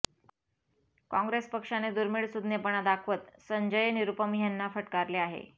काँग्रेस पक्षाने दुर्मीळ सूज्ञपणा दाखवत संजय निरूपम ह्यांना फटकारले आहे